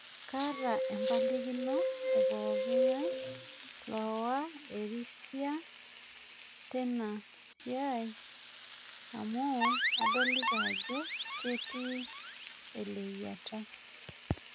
Kaata empalikino epokinga'e lowa ersiha tena siai amu adolita ajo ketii eleyiata